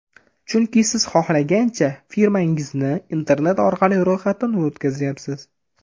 Chunki siz xohlagancha firmangizni internet orqali ro‘yxatdan o‘tkazyapsiz.